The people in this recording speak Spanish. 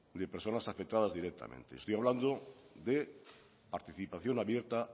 de personas afectadas directamente estoy hablando de participación abierta